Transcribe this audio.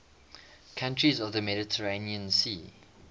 countries of the mediterranean sea